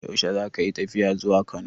Yaushe zaka yi tafiya zuwa Kano?